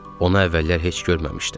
Onu əvvəllər heç görməmişdim.